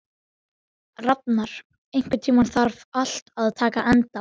Rafnar, einhvern tímann þarf allt að taka enda.